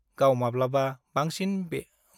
गाव मावब्ला बांसिन मोनो-बेखौ बुजिनो मोनबाय ।